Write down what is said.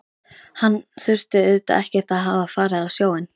Hann þurfti auðvitað ekkert að hafa farið á sjóinn.